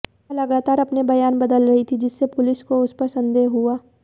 वह लगातार अपने बयान बदल रही थी जिससे पुलिस को उस पर संदेह हुआ